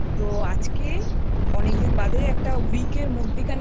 তো আজকে অনেকদিন বাদে একটা Week এর মধ্যিখানে